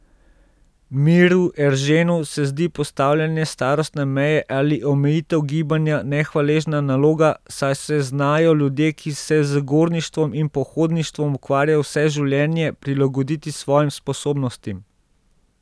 Miru Erženu se zdi postavljanje starostne meje ali omejitev gibanja nehvaležna naloga, saj se znajo ljudje, ki se z gorništvom in pohodništvom ukvarjajo vse življenje, prilagoditi svojim sposobnostim.